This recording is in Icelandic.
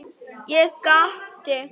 Ég gapti.